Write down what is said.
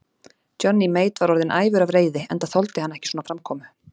Johnny Mate var orðinn æfur af reiði, enda þoldi hann ekki svona framkomu.